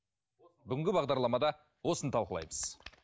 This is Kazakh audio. бүгінгі бағдарламада осыны талқылаймыз